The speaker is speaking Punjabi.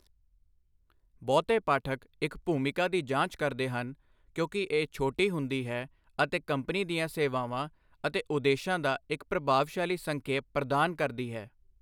ਬਹੁਤੇ ਪਾਠਕ ਇੱਕ ਭੂਮਿਕਾ ਦੀ ਜਾਂਚ ਕਰਦੇ ਹਨ ਕਿਉਂਕਿ ਇਹ ਛੋਟੀ ਹੁੰਦੀ ਹੈ ਅਤੇ ਕੰਪਨੀ ਦੀਆਂ ਸੇਵਾਵਾਂ ਅਤੇ ਉਦੇਸ਼ਾਂ ਦਾ ਇੱਕ ਪ੍ਰਭਾਵਸ਼ਾਲੀ ਸੰਖੇਪ ਪ੍ਰਦਾਨ ਕਰਦੀ ਹੈ।